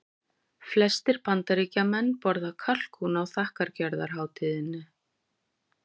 Flestir Bandaríkjamenn borða kalkún á þakkargjörðarhátíðinni.